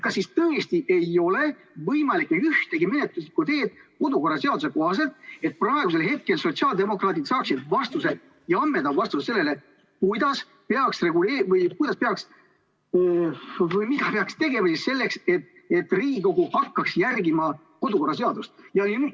Kas tõesti ei ole võimalik kasutada ühtegi menetluslikku teed kodu- ja töökorra seaduse kohaselt, et sotsiaaldemokraadid saaksid praegu ammendava vastuse sellele, mida peaks tegema selleks, et Riigikogu hakkaks järgima kodu- ja töökorra seadust?